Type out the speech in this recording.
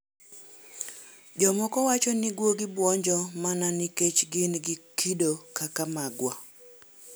Jomoko wacho ni guogi bwonjo mana nikech gin gi kido kaka magwa.